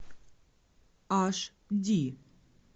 аш ди